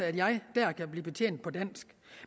at jeg dér kan blive betjent på dansk